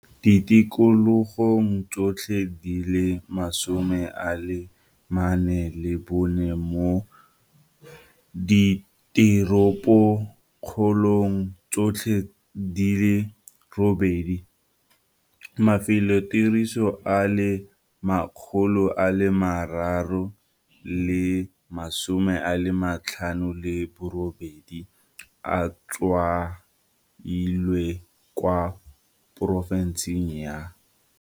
ditikologong tsotlhe di le 44 le mo diteropokgolong tsotlhe di le robedi. Mafelotiriso a le 358 a tshwailwe kwa porofenseng ya.